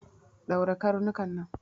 Ɗaure karnuka nan!